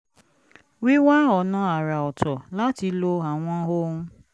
wíwá ọ̀nà àrà ọ̀tọ̀ láti lo àwọn ohun